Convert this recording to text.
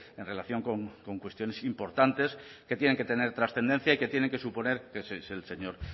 en relación con cuestiones importantes que tienen que tener trascendencia y que tienen que suponer que es el señor